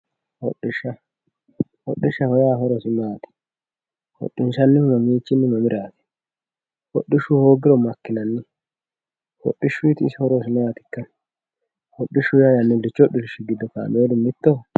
Hodhishsha hodhishsho horosi maati hodhinsannihu mamiichinni mamiraati hodhishshu hoogiro maikkinanni hodhishshuuti isi horosi maatikka hodhishsho yaa yannillichu hodhishshi giddo kaa'laari mittoho